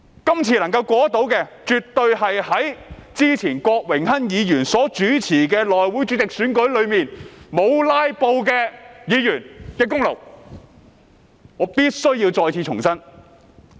今次法案若能夠通過，絕對是在之前郭榮鏗議員所主持的內務委員會主席選舉中沒有"拉布"的議員的功勞，這一點我必須重申。